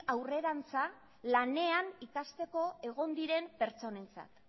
aurrerantza lanean ikasteko egon diren pertsonentzat